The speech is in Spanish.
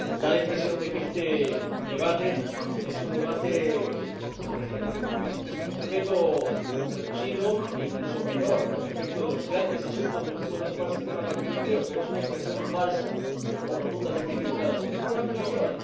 Da la impresión de que este debate es un debate sobre un tema menor con respecto a los grandes asuntos de los que puede ocuparse este Parlamento Europeo, pero es una impresión falsa o rotundamente equivocada, porque es un debate mayor.